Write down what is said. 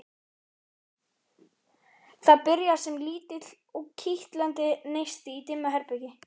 Það byrjar sem lítill, kitlandi neisti í dimmu herbergi.